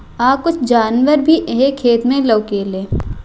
आ कुछ जानवर भी येह खेत में लौकेले।